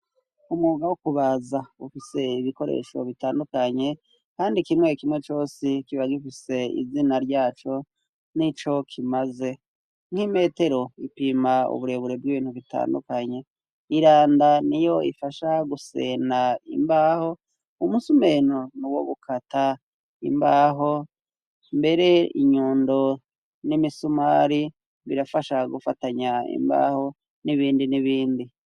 umuga wo kubaza ufise ibikoresho bitandukanye kandi kimwe kimwe cose kiba gifise izina ryaco n'ico kimaze nk'imetero ipima uburebure bw'ibintu bitandukanye iranda ni yo ifasha gusenda imbaho umusumeno ni wo gukata imbaho mbere inyundo n'imisumari birafasha gufatanya imbaho n'ibindi n'ibindi